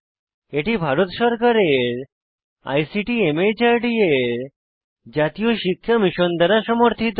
এটি ভারত সরকারের আইসিটি মাহর্দ এর জাতীয় শিক্ষা মিশন দ্বারা সমর্থিত